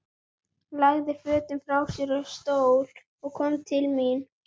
Lagði fötin frá sér á stól og kom til mín.